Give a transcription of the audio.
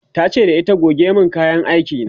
tace da ita "goge min kayan aiki na!"